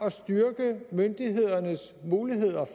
at styrke myndighedernes muligheder